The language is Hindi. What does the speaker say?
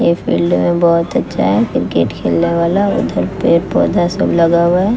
यह फील्ड में बहोत अच्छा है। क्रिकेट खेलने वाला उधर पेड़ पौधा सब लगा हुआ है।